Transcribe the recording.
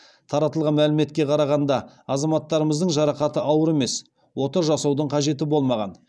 таратылған мәліметке қарағанда азаматтарымыздың жарақаты ауыр емес ота жасаудың қажеті болмаған